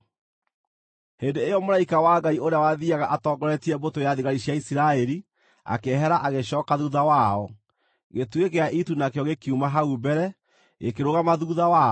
Hĩndĩ ĩyo mũraika wa Ngai ũrĩa wathiiaga atongoretie mbũtũ ya thigari cia Isiraeli, akĩehera agĩcooka thuutha wao. Gĩtugĩ gĩa itu nakĩo gĩkiuma hau mbere, gĩkĩrũgama thuutha wao,